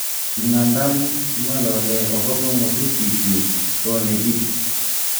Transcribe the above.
Ingandan kingolole okobo mokutik kyuk ko nekit."